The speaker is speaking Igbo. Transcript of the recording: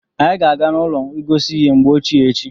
Anyị ga-aga n'ụlọ ngosi ihe mgbe ochie echi.